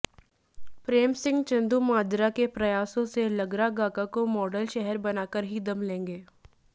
प्रेम सिंह चंदूमाजरा के प्रयासों से लगरागागा को मॉडल शहर बनाकर ही दम लेंगे